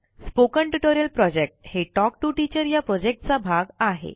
spoken tutorial project हे talk to teacher या प्रॉजेक्टचा भाग आहे